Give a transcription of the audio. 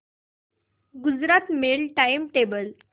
Gujarat Mail time table